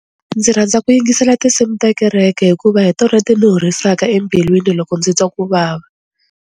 Ndzi rhandza ku yingisela tinsimu ta kereke hikuva hi tona ti ni horisaka embilwini loko ndzi twa ku vava.